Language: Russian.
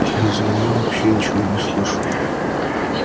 я из-за неё вообще ничего не слышу